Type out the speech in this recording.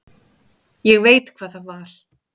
Ég veit hvað það var.